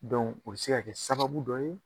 Dɔnku o bɛ se ka kɛ sababu dɔ ye.